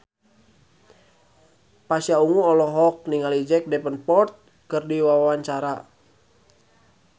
Pasha Ungu olohok ningali Jack Davenport keur diwawancara